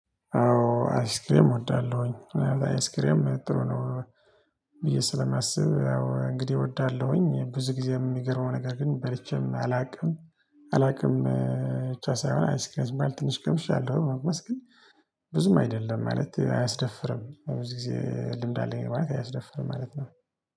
አዎ አይስክሬም እወዳለሁኝ አይስክሬም ጥሩ ነው። ብዬ ስለማስብ አዎ እንግዲህ እወዳለሁኝ ብዙ ጊዜ የሚገርመው ነገር ግን በልቼም አላውቅም። አላውቅም ብቻ ሳይሆን አይስክራዝ ማለት ትንሽ ቀምሻለሁ መቅመስ ግን። ብዙም አይደለም ማለት አያስደፍርም በብዙ ጊዜ ልምድ አለኝ ማለት አያስደፍርም ማለት ነው።